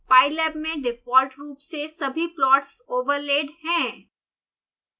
pylab में default रूप से सभी प्लॉट्स ओवरलेड हैं